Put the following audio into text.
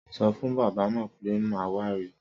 Sọfún bábà náà pe màá wá ri